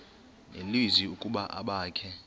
nelizwi ukuba abakhe